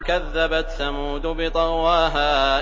كَذَّبَتْ ثَمُودُ بِطَغْوَاهَا